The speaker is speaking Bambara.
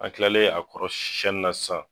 An kilalen a kɔrɔ sɛnni na sisan.